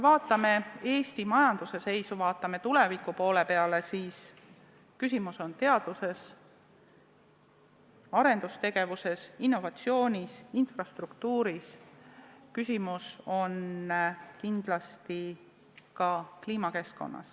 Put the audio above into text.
Vaatame Eesti majanduse seisu, vaatame tuleviku poole: küsimus on teaduses, arendustegevuses, innovatsioonis, infrastruktuuris, küsimus on kindlasti ka kliimas ja keskkonnas.